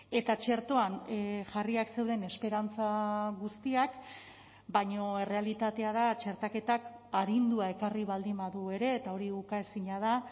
eta txertoan jarriak zeuden esperantza guztiak baina errealitatea da txertaketak arindua ekarri baldin badu ere eta hori ukaezina da